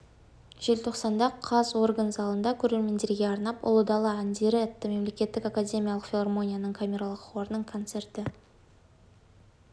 желтоқсанда қаз орган залында көрермендерге арнап ұлы дала әндері атты мемлекеттік академиялық филармонияның камералық хорының концерті